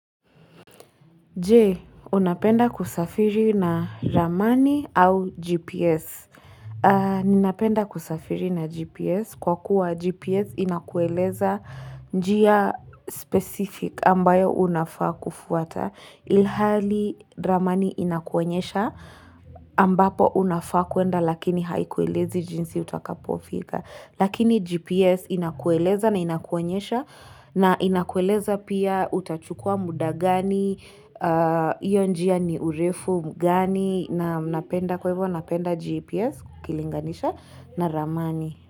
Je, unapenda kusafiri na ramani au GPS? Ninapenda kusafiri na GPS kwa kuwa GPS inakueleza njia specific ambayo unafaa kufuata. Ilhali ramani inakuenyesha ambapo unafaa kuenda lakini haiku elezi jinsi utakapofika. Lakini GPS inakueleza na inakuonyesha na inakueleza pia utachukua mda gani, iyo njia ni urefu gani na napenda GPS ukilinganisha na ramani.